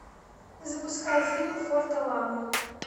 запускай фильм форт аламо